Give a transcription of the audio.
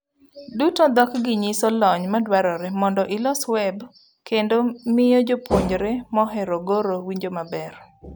Duto, dhok gi nyiso lony madwarre mondo ilos web kendo miyo jopuonjre mohero goro winjo maber.